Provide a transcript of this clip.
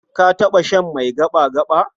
Ka taɓa shan mai gaɓa-gaɓa?